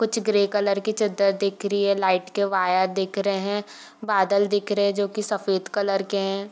कुछ grey colour के चद्दर दिख रही है लाइट के वायर दिख रहे हैं बादल दिख रहे हैं जो की सफ़ेद कलर के हैं।